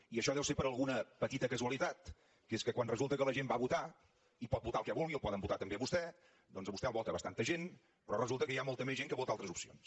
i això deu ser per alguna petita casualitat que és que quan resulta que la gent va a votar i pot votar el que vulgui el poden votar també a vostè doncs a vostè el vota bastanta gent però resulta que hi ha molta més gent que vota altres opcions